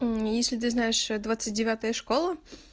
если ты знаешь двадцать девятая школа